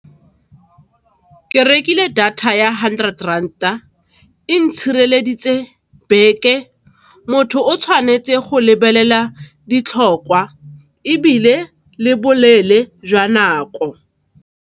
Ke rekile data ya hundred rand-a, e ntshireleditse beke. Motho o tshwanetse go lebelela ditlhokwa ebile le boleele jwa nako.